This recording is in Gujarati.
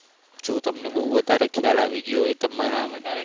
જો તમને બહુ વધારે ખ્યાલ આવી ગયો હોય તમારા